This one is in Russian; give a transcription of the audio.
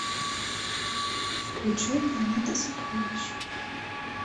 включай планета сокровищ